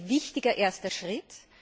Er ist ein wichtiger erster Schritt.